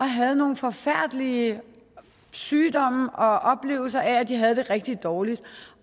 havde nogle forfærdelige sygdomme og oplevelser af de havde det rigtig dårligt